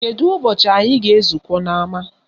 Kedu ụbọchị anyị ga-ezukọ n'ama